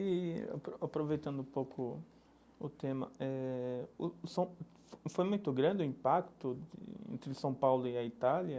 E apro aproveitando um pouco o tema eh, o são foi muito grande o impacto entre São Paulo e a Itália,